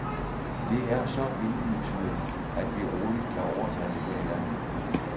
Det er så indlysende, at vi roligt kan overtage det her i landet.